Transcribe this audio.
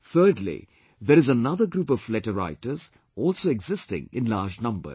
Thirdly, there is another group of letter writers, also existing in large numbers